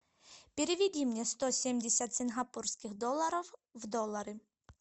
переведи мне сто семьдесят сингапурских долларов в доллары